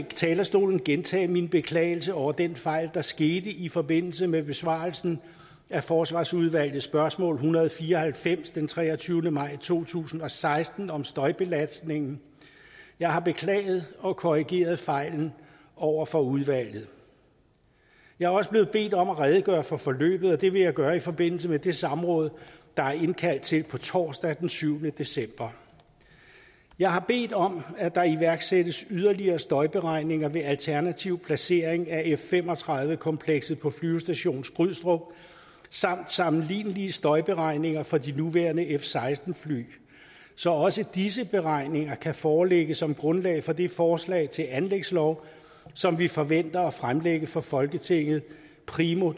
talerstolen gentage min beklagelse over den fejl der skete i forbindelse med besvarelsen af forsvarsudvalgets spørgsmål en hundrede og fire og halvfems den treogtyvende maj to tusind og seksten om støjbelastningen jeg har beklaget og korrigeret fejlen over for udvalget jeg er også blevet bedt om at redegøre for forløbet og det vil jeg gøre i forbindelse med det samråd der er indkaldt til torsdag den syvende december jeg har bedt om at der iværksættes yderligere støjberegninger ved alternativ placering af f fem og tredive komplekset på flyvestation skrydstrup samt sammenlignelige støjberegninger for de nuværende f seksten fly så også disse beregninger kan foreligge som grundlag for det forslag til anlægslov som vi forventer at fremsætte for folketinget primo